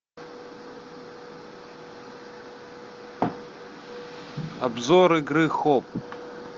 обзор игры хоп